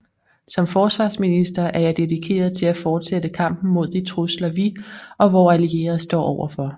Som forsvarsminister er jeg dedikeret til at fortsætte kampen mod de trusler vi og vore allierede står overfor